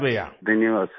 मंजूर जी धन्यवाद सर